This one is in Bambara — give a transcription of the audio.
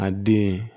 A den